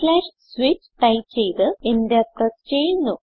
switch type ചെയ്ത് enter press ചെയ്യുന്നു